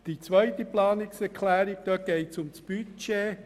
Die zweite Planungserklärung betrifft das Budget.